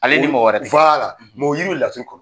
Ale ni mɔgɔ wɛrɛ, o yiri bɛ laturu kɔ